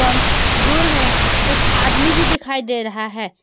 दूर में एक आदमी भी दिखाई दे रहा है।